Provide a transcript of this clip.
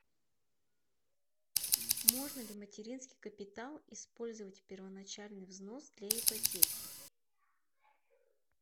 можно ли материнский капитал использовать первоначальный взнос для ипотеки